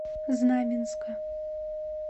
знаменска